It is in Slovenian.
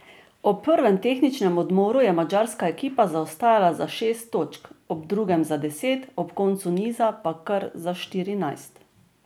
Ob prvem tehničnem odmoru je madžarska ekipa zaostajala za šest točk, ob drugem za deset, ob koncu niza pa kar za štirinajst.